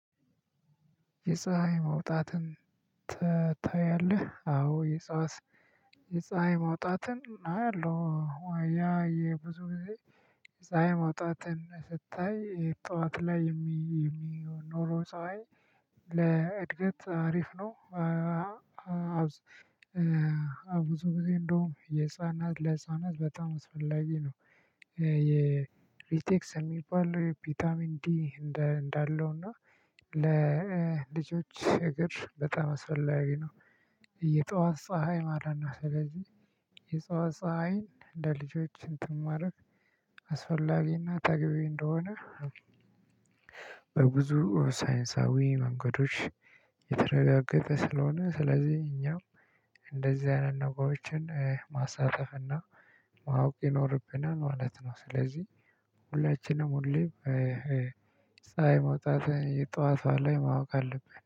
የፀሀይ መውጣትን ታያለህ አዎ። የፀሀይ ማውጣትን አያለው ያ የብዙ ጊዜ የፀሀይ ማውጣትን ስታይ ጠዋት ላይ የሚኖረው ፀሀይ። ለእድገት አሪፍ ነው። ብዙ ጊዜ እንደውም የህፃናት ለህፃናት በጣም አስፈላጊ ነው። የሪቴክስ የሚባል ፒታሚን ዲ እንዳለው እና ለልጆች እግር በጣም አስፈላጊ ነው። የጧት ፀሀይ ማለት ነው። ስለዚህ የጧት ፀሀይን ለልጆች እንትን ማድረግ አስፈላጊና ተገቢ እንደሆነ። በብዙ ሳይንሳዊ መንገዶች የተረጋገጠ ስለሆነ ስለዚህ እኛም እንደዚህ አይነት ነገሮችን ማሳለፍና ማወቅ ይኖርብናል ማለት ነው። ስለዚህ ሁላችንም ሁሌ ፀሀይ መውጣት ጧት ላይ ማወቅ አለብን